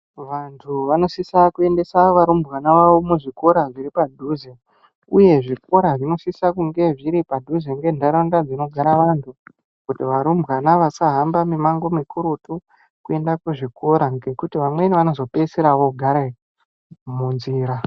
Vantu vanosisa kuendesa varumbwana vawo kuzvikora zviripadhuze uye zvikoro zvinofanirwa kunge zviri mundaraunda dzinogara vantu kuti varumbwana vasahamba mimango mukurutu kuenda kuzvikora nekuti vamweni vanozo pedzisira vanozogara munzira .